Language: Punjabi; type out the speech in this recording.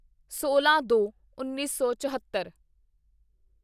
ਸੋਲਾਂਦੋਉੱਨੀ ਸੌ ਚੋਹਤੱਰ